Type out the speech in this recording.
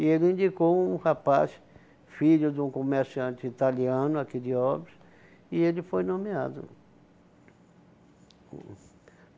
E ele indicou um rapaz, filho de um comerciante italiano, aqui de Óbidos, e ele foi nomeado.